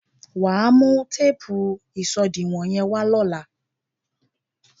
Wà á mú téèpù ìṣòdiwọ̀n yẹ́n wá lóla.